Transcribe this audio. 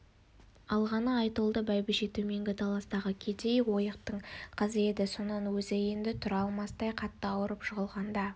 алғаны айтолды бәйбіше төменгі таластағы кедей ойықтың қызы еді сонан өзі енді тұра алмастай қатты ауырып жығылғанда